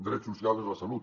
drets socials de la salut